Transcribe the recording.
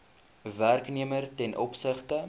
werknemer ten opsigte